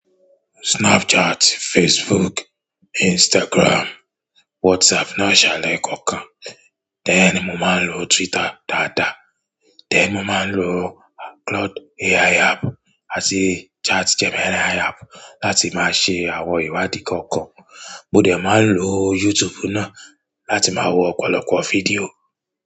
Snapchat, Facebook, Instagram, WhatsApp náà ṣalaye kọ̀ọ̀kan. Tẹ́ẹ̀ ni mo máa ń lo Twitter dáadáa, tẹ́ẹ̀ mo máa ń lo Cloud AI app àti ChatGPT AI app láti máa ṣe àwọn ìwádìí kọ̀ọ̀kan. Mo dà máa ń lo YouTube náà láti máa wo ọ̀pọ̀lọpọ̀ fídíò.